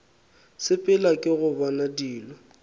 sepela ke go bona dilo